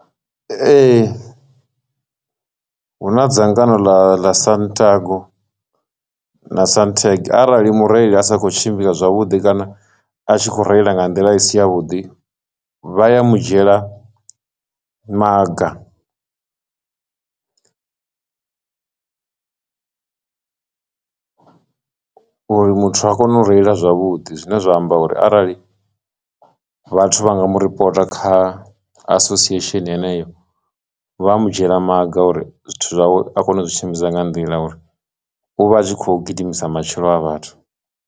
Ee, hu na dzangano ḽa ḽa santago na santeg arali mureili a sa khou tshimbila zwavhuḓi kana a tshi kho reila nga nḓila i si ya vhuḓi vha ya mu dzhiela maga uri muthu a kone u reila zwavhuḓi, zwine zwa amba uri arali vhathu vha nga mu ripota kha association heneyo vha mu dzhiela maga uri zwithu zwawe a kone u zwi shumisa nga nḓila uri u vha a tshi kho gidimisa matshilo a vhathu.